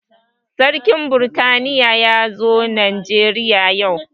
Sarkin britaniya ya zo najeriya yau